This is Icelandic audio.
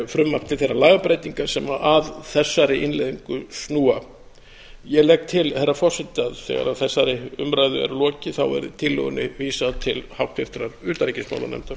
frumvarp til þeirra lagabreytinga sem að þessari innleiðingu snúa ég legg til herra forseti að þegar þessari umræðu er lokið verði tillögunni vísað til háttvirtrar utanríkismálanefndar